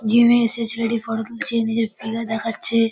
Gym -এ এসে ছেলেটি ফটো তুলছে নিজের ফিগার দেখাচ্ছে।